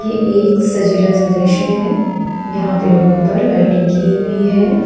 ये एक सजीला सा दृश्य है यहां पे रूफ पर लाइटिंग की हुई है।